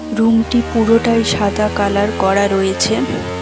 রুমটি পুরোটাই সাদা কালার করা রয়েছে।